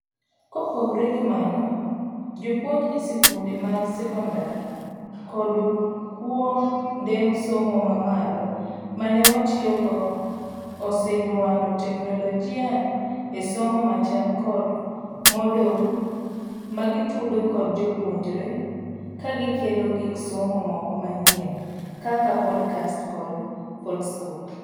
Kopogre gi mano, jopuonj esikunde mag sekondar kod kuo nde somo mamalo manee watiyogo osenyuando teknologia esomo machal kod Moodle magitudo kod jopuonjre kagikelo gik somo moko manyien kaka podcast kod foldscopes.